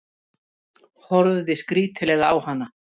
Horfði skrítilega á hana.